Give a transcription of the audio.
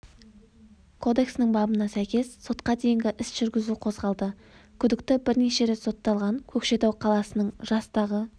кодексінің бабына сәйкес сотқа дейінгі іс жүргізу қозғалды күдікті бірнеше рет сотталған көкшетау қаласының жастағы